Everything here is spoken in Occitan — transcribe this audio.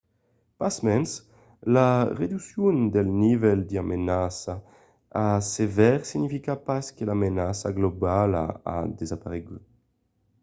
pasmens la reduccion del nivèl de menaça a sevèr significa pas que la menaça globala a desaparegut.